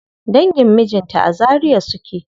Dangin mijinta a Zaria suke.